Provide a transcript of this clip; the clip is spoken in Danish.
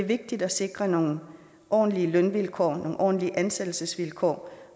vigtigt at sikre nogle ordentlige lønvilkår nogle ordentlige ansættelsesvilkår